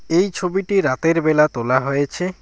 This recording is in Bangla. এই ছবিটি রাতের বেলা তোলা হয়েছে।